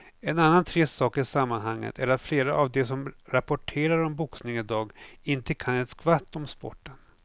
En annan trist sak i sammanhanget är att flera av de som rapporterar om boxning i dag inte kan ett skvatt om sporten.